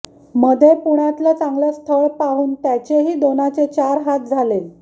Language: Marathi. मधे पुण्यातलं चांगलं स्थळ पाहून त्याचेही दोनाचे चार हात झाले